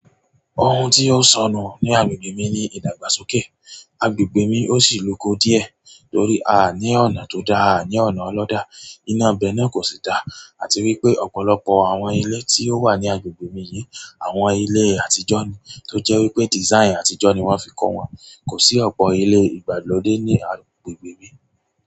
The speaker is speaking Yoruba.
Ohun tí ó s'ọnù ní agbègbè mi ni ìdàgbà sókè. Agbègbè mi ó sì l'uko díẹ̀ torí a ní ọ̀nà tó dáa, aa ní ọ̀nà ọlọ́dà. Iná ibẹ́ náà kò sì dá àti wípé ọ̀pọ̀lọpọ̀ àwọn ilé tí ó wà ní agbègbè mi yìí, àwọn ilé àtijọ́ ni, tó jẹ́ wípé design àtijọ́ ni wọ́n fi ko wọn. Kò sí ọ̀pọ̀ ilé ìgbàlódé ní agbègbè mi.